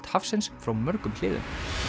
hafsins frá mörgum hliðum